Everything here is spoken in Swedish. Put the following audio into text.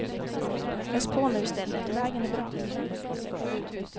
Ös på nu i stället, vägen är bra.